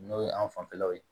N'o ye an fanfɛlaw ye